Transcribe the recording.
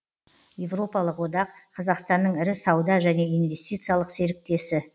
европалық одақ қазақстанның ірі сауда және инвестициялық серіктесі